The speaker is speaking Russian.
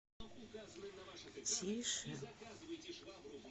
тише